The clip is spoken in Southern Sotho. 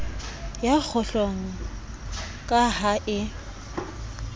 ya kgohlong ka ha e